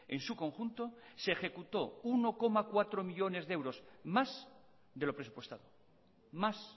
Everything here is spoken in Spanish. en su conjunto se ejecuto uno coma cuatro millónes de euros más de lo presupuestado más